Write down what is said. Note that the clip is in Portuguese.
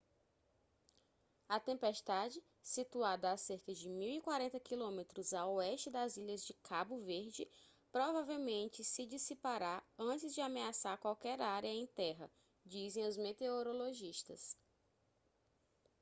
a tempestade situada a cerca de 1040 km a oeste das ilhas de cabo verde provavelmente se dissipará antes de ameaçar qualquer área em terra dizem os meteorologistas